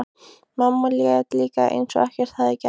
Mamma lét líka eins og ekkert hefði gerst.